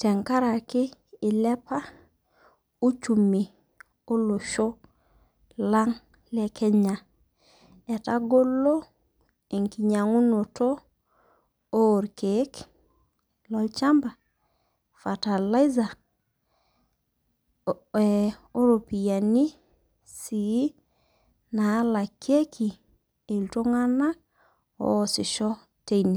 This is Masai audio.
tenkaraki eilepa uchumi olosho lang' le Kenya. Etagolo enkinyang'unoto olkeek, lolchamba , fertilizer, o ropiani sii naalakieki iltung'ana oasisho teine.